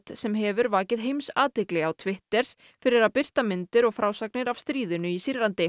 sem hefur vakið heimsathygli á Twitter fyrir að birta myndir og frásagnir af stríðinu í Sýrlandi